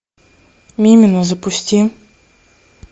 мимино запусти